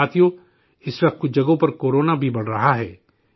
ساتھیو، اس وقت کچھ جگہوں پر کورونا بھی بڑھ رہا ہے